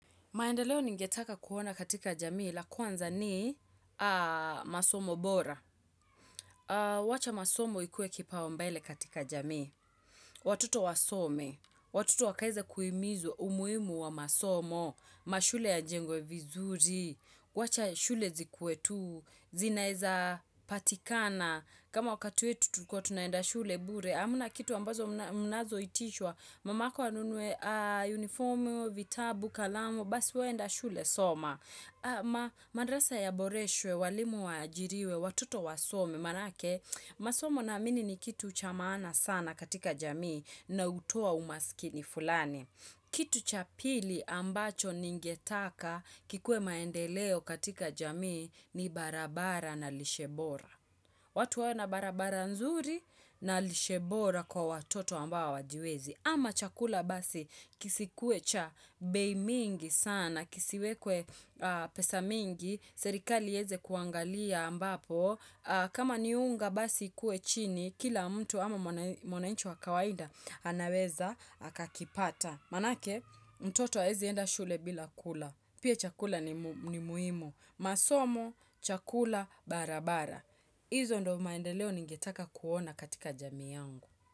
Maendeleo ningetaka kuona katika jamii la kwanza ni masomo bora. Wacha masomo ikuwe kipaumbele katika jamii. Watoto wasome, watoto wakaweze kuhimizwa umuhimu wa masomo, mashule yajengwe vizuri, wacha shule zikuwe tu, zinaweza patikana, kama wakati wetu tulikuwa tunaenda shule bure. Hamna kitu ambazo mnazoitishwa, mamako anunue unifomu, vitabu, kalamu, basi we enda shule soma. Madarasa ya Boreswe, walimu wajiriwe, watoto wasome, maanake, masomo naamini ni kitu cha maana sana katika jamii na hutoa umaskini fulani. Kitu cha pili ambacho ningetaka kikue maendeleo katika jamii ni barabara na lishe bora. Watu wawe na barabara nzuri na lishe bora kwa watoto ambao hawajiwezi. Ama chakula basi kisikwe cha bei mingi sana, kisiwekwe pesa mingi, serikali iweze kuangalia ambapo. Kama ni unga basi ikuwe chini, kila mtu ama mwananchi wa kawaida anaweza akakipata. Maanake, mtoto hawezi enda shule bila kula. Pia chakula ni muhimu. Masomo, chakula, barabara. Izo ndio maendeleo ningetaka kuona katika jami yangu.